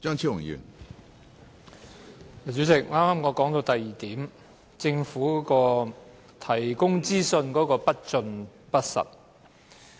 主席，我剛才正說到第二點，政府提供資訊不盡不實。